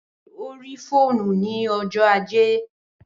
Bẹẹni o ri fóònù ni ọjọ ajé